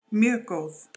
Mjög góð